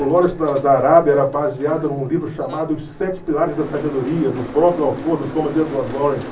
O Lawrence da da Arábia era baseado num livro chamado Os Sete Pilares da Sabedoria, do próprio autor, do Thomas Edward Lawrence.